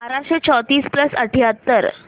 बाराशे चौतीस प्लस अठ्याहत्तर